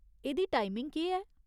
एह्दी टाइमिङ केह् ऐ ?